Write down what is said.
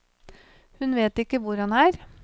Hun vet ikke hvor han er.